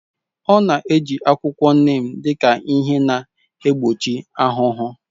Ọ na-eji akwụkwọ neem dị ka ihe na-egbochi ahụhụ.